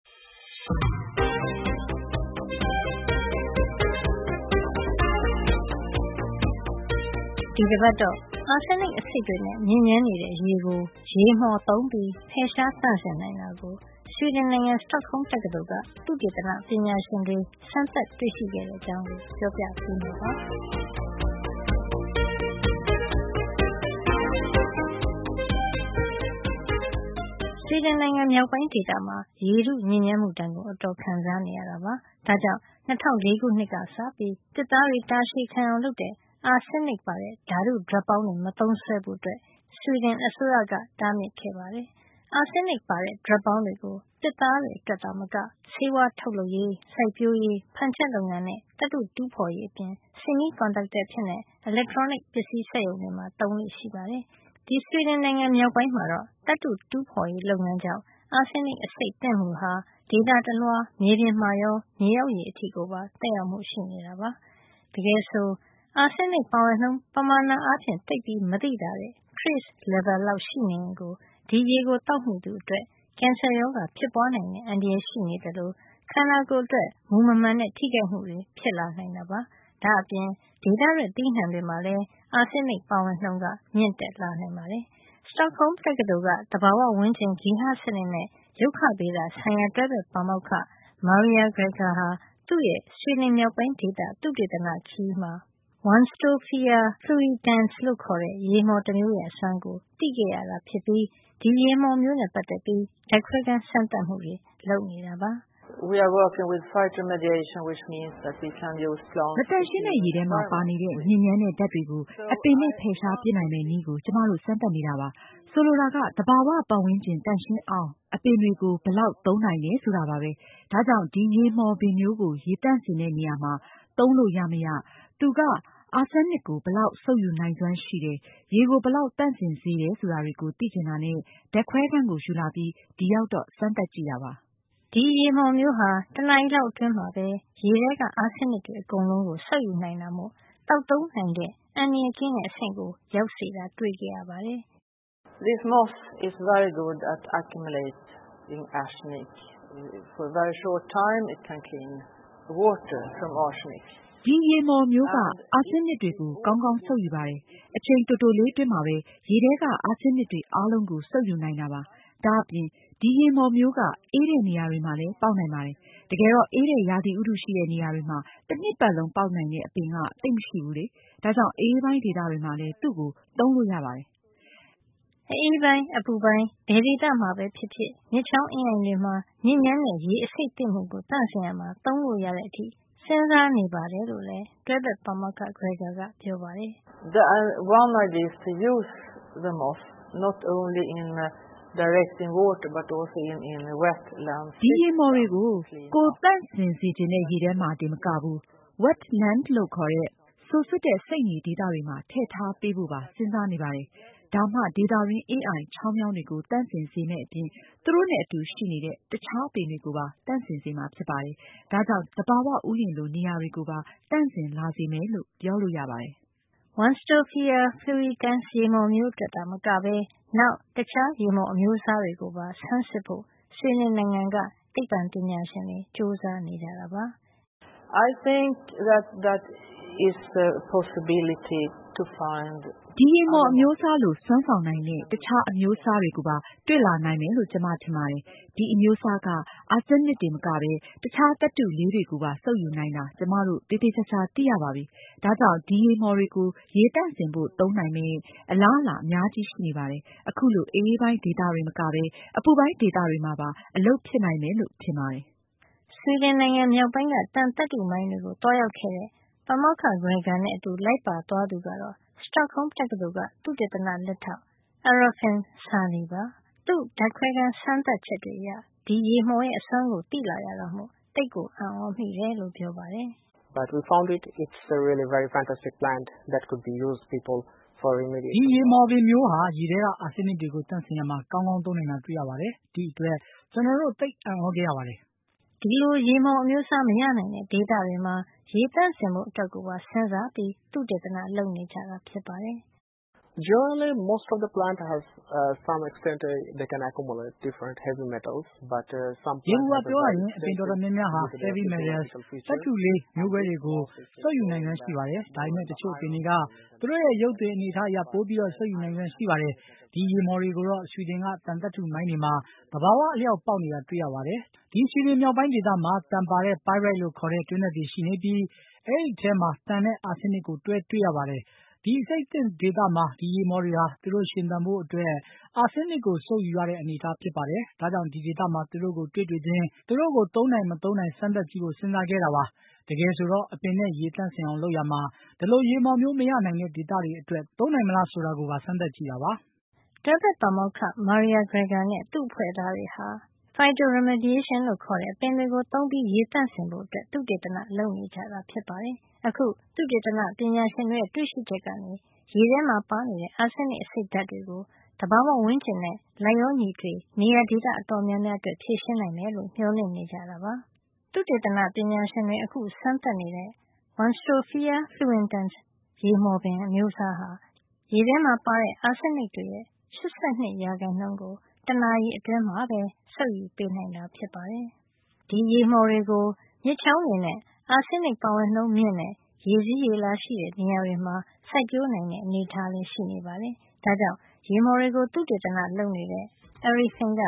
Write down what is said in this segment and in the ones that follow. ဒီတပတ်တော့ အာဆင်းနစ် အဆိပ်တွေနဲ့ ညစ်ညမ်းနေတဲ့ ရေကို ရေမှော်သုံးပြီး ဖယ်ရှား သန့်စင်နိုင်တာကို Sweden နိုင်ငံ Stockholm တက္ကသိုလ်က သုတေသန ပညာရှင်တွေ စမ်းသပ်တွေ့ရှိခဲ့တဲ့ အကြောင်း ပြောပြပေးမှာပါ။ Sweden နိုင်ငံ မြောက်ပိုင်းဒေသမှာ ရေထုညစ်ညမ်းမှုဒဏ်ကို အတော်ခံစားနေရတာပါ။ ဒါ့ကြောင့် ၂၀၀၄ ခုနှစ်ကစပြီး သစ်သားတွေ တာရှည်ခံအောင်လုပ်တဲ့ အာဆင်းနစ်ပါ ဓါတုဒြပ်ပေါင်းတွေ မသုံးစွဲဖို့ Sweden အစိုးရက တားမြစ်ခဲ့ပါတယ်။ အာဆင်းနစ်ပါတဲ့ ဒြပ်ပေါင်းတွေကို သစ်သားအတွက်သာမက ဆေးဝါးထုတ်လုပ်ရေး၊ စိုက်ပျိုးရေး၊ ဖန်ချက်လုပ်ငန်းနဲ့ သတ္တုတူးဖေါ်ရေး အပြင် semiconductor အဖြစ် အီလက်ထရောနစ်ပစ္စည်း စက်ရုံတွေမှာ သုံးလေ့ရှိပါတယ်။ ဒီဆွီဒင်နိုင်ငံမြောက်ပိုင်းမှာတော့ သတ္တုတူးဖေါ်ရေးလုပ်ငန်းကြောင့် အာဆင်းနစ် အဆိပ်သင့်မှုဟာ ဒေသတလွှား မြေပြင်မှာရော မြေအောက်ရေအထိကိုပါ သက်ရောက်မှု ရှိနေတာပါ။ တကယ်ဆိုတော့ အာဆင်းနစ်ပါဝင်နှုန်း ပမာဏအားဖြင့် သိပ်မသိသာတဲ့ trace level လောက် ရှိနေရင်ကို ဒီရေကို သောက်မိသူအတွက် ကင်ဆာရောဂါ ဖြစ်ပွါးနိုင်တဲ့ အန္တရာယ်ရှိနေသလို ခန္ဓာကိုယ်အတွက် မူမမှန်တဲ့ ထိခိုက်မှုတွေ ဖြစ်လာနိုင်တာပါ။ ဒါ့အပြင် ဒေသထွက် သီးနှံတွေမှာလည်း အာဆင်းနစ်ပါဝင်နှုန်း မြင့်တက်လာနိုင်ပါတယ်။ Stockholm တက္ကသိုလ်က သဘာဝဝန်းကျင်၊ ဂေဟစံနစ်နဲ့ ရုက္ခဗေဒ ဆိုင်ရာ တွဲဘက်ပါမောက္ခ Maria Greger ဟာ သူ့ရဲ့ ဆွီဒင်မြောက်ပိုင်းဒေသ သုတေသနခရီးမှာ Warnstofia Fluitans လို့ခေါ်တဲ့ ရေမှော်တမျိုးရဲ့ အစွမ်းကို သိခဲ့ရတာ ဖြစ်ပြီး ဒီရေမှော်မျိုးနဲ့ ပတ်သက်ပြီး ဓါတ်ခွဲခန်း စမ်းသပ်မှုတွေ လုပ်နေတယ်လို့ ပြောပါတယ်။ "မသန့်ရှင်းတဲ့ရေထဲမှာ ပါနေတဲ့ ညစ်ညမ်းတဲ့ဓါတ်တွေကို အပင်တွေနဲ့ ဖယ်ရှား ပစ်နိုင်မယ့်နည်းကို ကျမတို့စမ်းသပ်နေတာပါ။ ဆိုလိုတာက သဘာဝဝန်းကျင် သန့်ရှင်းအောင် အပင်တွေကို ဘယ်လောက်သုံးနိုင်တယ်ဆိုတာပါပဲ။ ဒါ့ကြောင့် ဒီရေမှော်ပင်မျိုးကို ရေသန့်စင်တဲ့ နေရာမှာ သုံးလို့ ရမရ၊ သူက အာဆင်းနစ်ကို ဘယ်လောက်စုပ်ယူနိုင်စွမ်းရှိတယ်၊ ရေကိုဘယ်လောက်သန့်စင်စေတယ် ဆိုတာတွေကို သိချင်တာနဲ့ ဓါတ်ခွဲခန်းကို ယူလာပြီး ဒီရောက်တော့ စမ်းသပ်ကြည့်တာပါ။ ဒီရေမှော်မျိုးဟာ တနာရီလောက်အတွင်းမှာပဲ ရေထဲက အာဆင်းနစ်တွေ အကုန်လုံးကို စုပ်ယူနိုင်တာမို့ သောက်သုံးနိုင်တဲ့ အန္တရာယ်ကင်းတဲ့ အဆင့်ကို ရောက်စေတာတွေ့ခဲ့ရပါတယ်။ “ဒီရေမှော်မျိုးက အာဆင်းနစ်တွေကို ကောင်းကောင်းစုပ်ယူပါတယ်။ အချိန်တိုတိုလေးအတွင်းမှာပဲ ရေထဲက အာဆင်းနစ်တွေ အားလုံးကို စုပ်ယူနိုင်တာပါ။ ဒါ့အပြင် ဒီရေမှော်မျိုးက အေးတဲ့နေရာတွေမှာလည်း ပေါက်နိုင်ပါတယ်။ တကယ်တော့ အေးတဲ့ ရာသီဥတုရှိတဲ့ နေရာတွေမှာ တနှစ်ပတ်လုံး ပေါက်နိုင်တဲ့ အပင်က သိပ်မရှိဘူးလေ။ ဒါ့ကြောင့် အအေးပိုင်း ဒေသတွေမှာလည်း သူ့ကိုသုံးလို့ ရပါတယ်။” အအေးပိုင်း၊ အပူပိုင်း ဘယ်ဒေသမှာပဲ ဖြစ်ဖြစ်၊ မြစ်ချောင်း အင်းအိုင်တွေမှာ ညစ်ညမ်းတဲ့ ရေအဆိပ်သင့်မှုကို သန့်စင်ရာမှာ သုံးလို့ရတဲ့အထိ စဉ်းစားနေတယ်လို့လည်း Stockholm တက္ကသိုလ်က တွဲဘက်ပါမောက္ခ Greger ကပြောပါတယ်။ “ဒီရေမှော်တွေကို ကိုယ် သန့်စင်စေချင်တဲ့ ရေထဲမှာ တင်မကဘူး၊ wetland လို့ခေါ်တဲ့ စိုစွတ်တဲ့ စိမ့်မြေဒေသတွေမှာ ထည့်ထားပေးဖို့ပါ စဉ်းစားနေပါတယ်။ ဒါမှ ဒေသတွင်း အင်းအိုင် ချောင်းမြောင်းတွေကို သန့်စင်စေမယ့်အပြင် သူတို့နဲ့အတူရှိနေတဲ့ တခြားအပင်တွေကိုပါ သန့်စင်စေမှာ ဖြစ်ပါတယ်။ ဒါကြောင့် သဘာဝဥယာဉ်လို နေရာတွေကိုပါ သန့်စင်လာစေမယ် လို့ ပြောလို့ရပါတယ်။” Warnstofia Fluitans ရေမှော်မျိုးအတွက်တင်မကပဲ နောက်တခြားရေမှော်အမျိုးအစားတွေကိုပါ ဆန်းစစ်ဖို့ ဆွီဒင်နိုင်ငံက သိပ္ပံပညာရှင်တွေ ကြိုးစားနေကြတာပါ။ “ဒီရေမှော်အမျိုးအစားလို စွမ်းဆောင်နိုင်တဲ့ တခြားအမျိုးအစားတွေကိုပါ တွေ့လာနိုင်မယ်လို့ ကျမထင်ပါတယ်။ ဒီအမျိုးအစားက အာဆင်းနစ်တင်မကပဲ တခြား သတ္တုအလေး တွေကိုပါ စုပ်ယူနိုင်တာ ကျမတို့ သေသေချာချာ သိရပါပြီ။ ဒါကြောင့် ဒီရေမှော်တွေကို ရေသန့်စင်ဖို့ သုံးနိုင်မယ့် အလားအလာ အများကြီးရှိနေပါတယ်။ အခုလို အအေးပိုင်းဒေသတွေတင် မကပဲ အပူပိုင်းဒေသတွေမှာပါ အလုပ်ဖြစ်နိုင်မယ်လို့ ထင်ပါတယ်။” ဆွီဒင်မြောက်ပိုင်းက သံသတ္တုမိုင်းတွေကို သွားရောက်ခဲ့တဲ့ ပါမောက္ခ Greger နဲ့ အတူလိုက်ပါသွားသူ ကတော့ Stockholm တက္ကသိုလ်က သုတေသန လက်ထောက် Arifin Sandhi ပါ။ သူ့ဓါတ်ခွဲခန်း စမ်းသပ်ချက်တွေအရ ဒီရေမှော်ရဲ့အစွမ်းကို သိလာရတာမို့ အံ့ကြမိတယ်လို့ ပြောပါတယ်။ ဒီရေမှော်ပင်မျိုးဟာ ရေထဲက အာဆင်းနစ်တွေ သန့်စင်ရာမှာ ကောင်းကောင်း သုံးနိုင်တာတွေ့ရပါတယ်။ ဒီ့အတွက် ကျွန်တော်တို့ သိပ်အံ့သြခဲ့ရပါတယ်။ ဒီလို ရေမှော်အမျိုးအစား မရနိုင်တဲ့ဒေသတွေမှာ ရေသန့်စင်ဖို့ အတွက်ကိုပါ စဉ်းစားပြီး သုတေသန လုပ်နေတာ ဖြစ်ပါတယ်။ “ယေဘူူယျ ပြောရရင် အပင်အတော်များများဟာ heavy metals သတ္တုလေး မျိုးကွဲတွေကို စုပ်ယူနိုင်စွမ်းရှိပါတယ်။ ဒါပေမယ့် တချို့အပင်တွေက သူတို့ရဲ့ ရုပ်သွင် အနေထားအရ ပိုပြီး စုပ်ယူနိုင်စွမ်းရှိပါတယ်။ ဒီရေမှော်တွေကိုတော့ ဆွီဒင်က သံသတ္တုမိုင်းတွေမှာ သဘာဝ အလျှောက်ပေါက်နေတာ တွေ့ရပါတယ်။ ဒီဆွီဒင်မြောက်ပိုင်းဒေသမှာ သံပါတဲ့ pyrite လို့ခေါ်တဲ့ တွင်းထွက်တွေရှိနေပြီး အဲဒီထဲမှာ သံနဲ့ အာဆင်းနစ်ကို တွဲတွေ့ရပါတယ်။ ဒီအဆိပ်သင့်ဒေသမှာ ဒီရေမှော်တွေဟာ သူတို့ရှင်သန်ဖို့အတွက် အာဆင်းနစ်ကို စုပ်ယူရတဲ့ အနေထားဖြစ်ပါတယ်။ ဒါကြောင့် ဒီဒေသမှာ သူတို့ကို တွေ့တွေ့ချင်း သူတို့ကို သုံးနိုင်မသုံးနိုင် စမ်းသပ်ကြည့်ဖို့ စဉ်းစားခဲ့တာ ဖြစ်ပါတယ်။ တကယ်ဆိုတော့ အပင်နဲ့ ရေသန့်စင်အောင် လုပ်ရာမှာ ဒီလို ရေမှော်မျိုး မရနိုင်တဲ့ဒေသတွေအတွက် သုံးနိုင်မလားဆိုတာကိုပါ စမ်းသပ်ကြည့်တာပါ။” တွဲဘက်ပါမောက္ခ Maria Greger နဲ့ သူ့အဖွဲ့သားတွေဟာ phytoremediation လို့ခေါ်တဲ့ အပင်တွေကို သုံးပြီး ရေသန့်စင်ဖို့ သုတေသန လုပ်နေကြတာ ဖြစ်ပါတယ်။ အခု သုတေသနပညာရှင်တွေရဲ့ တွေ့ရှိချက်ကနေ ရေထဲမှာ ပါနေတဲ့ အာဆင်းနစ်အဆိပ် ဓါတ်တွေကို သဘာဝဝန်းကျင်နဲ့ လိုက်လျောညီထွေ ကျယ်ကျယ်ပြန့်ပြန့် နေရာဒေသအတော်များများအတွက် ဖြေရှင်းနိုင်မယ်လို့ မျှော်လင့်နေကြပါတယ်။ ဒီရေမှော်တွေကို မြစ်ချောင်းတွေနဲ့ အာဆင်းနစ်ပါဝင်နှုန်းမြင့်တဲ့ ရေစီးရေလာရှိတဲ့ နေရာတွေမှာ စိုက်ပျိုးနိုင်တဲ့ အနေထားလည်း ရှိနေပါတယ်။ ဒါ့ကြောင့် ရေမှော်တွေကို သုတေသနလုပ်နေတဲ့ Arifin Sandhi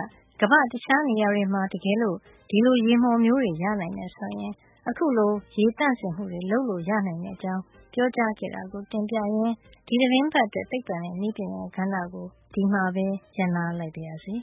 က ကမ္ဘာ့တခြားနေရာတွေမှာ တကယ်လို့ ဒီလို ရေမှော်မျိုးတွေ ရနိုင်မယ်ဆိုရင် အခုလို ရေသန့်စင်မှုတွေ လုပ်လို့ ရနိုင်တဲ့အကြောင်း ပြောကြားခဲ့တာကို တင်ပြရင်း ဒီသီတင်းပတ်အတွက် သိပ္ပံနဲ့ နည်းပညာကဏ္ဍကို ဒီမှာပဲ ရပ်နားလိုက်ပါရစေ